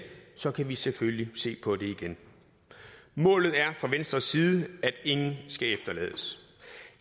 så kan vi selvfølgelig se på det igen målet er fra venstres side at ingen skal efterlades